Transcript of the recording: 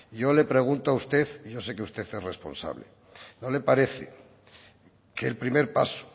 yo le pregunto a usted y yo sé que usted es responsable no le parece que el primer paso